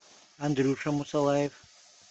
андрюша мусалаев